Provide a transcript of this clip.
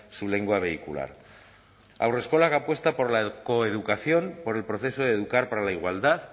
su lengua vehicular haurreskolak apuesta por la coeducación por el proceso de educar para la igualdad